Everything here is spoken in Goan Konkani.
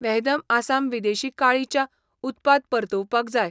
वहदम आसाम विदेशी काळी च्या उत्पाद परतुवपाक जाय.